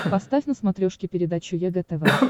поставь на смотрешке передачу егэ тв